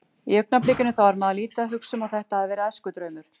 Í augnablikinu þá er maður lítið að hugsa um að þetta hafi verið æskudraumur.